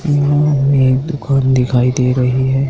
सामने एक दुकान दिखाई दे रही है।